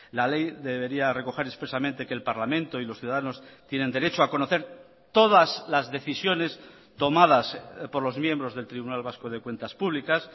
la ley debería recoger expresamente que el parlamento y los ciudadanos tienen derecho a conocer todas las decisiones tomadas por los miembros del tribunal vasco de cuentas públicas